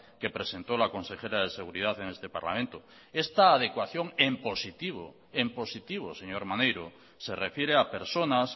que presentó la consejera de seguridad en este parlamento esta adecuación en positivo en positivo señor maneiro se refiere a personas